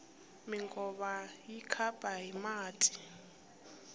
minkova yi khapa hi mati